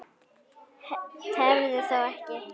Tefðu þá ekki.